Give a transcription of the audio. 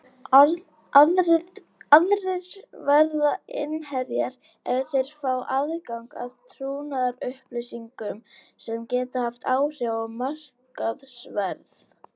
Aðrir verða innherjar ef þeir fá aðgang að trúnaðarupplýsingum sem geta haft áhrif á markaðsverð.